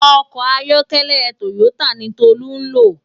Òkò àyòkèlè tóyótá ni Tolu n ló